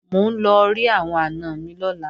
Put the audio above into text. Mò ń lọ rí àwọn àna mi lọ́la